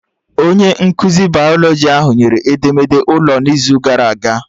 Onye nkụzi bayalọjị ahụ nyere edemede ụlọ n'izu gara aga